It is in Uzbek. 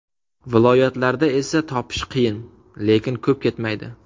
Viloyatlarda esa topish qiyin, lekin ko‘p ketmaydi.